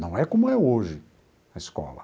Não é como é hoje, a escola.